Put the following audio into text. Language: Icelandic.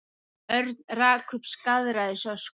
Örn rak upp skaðræðisöskur.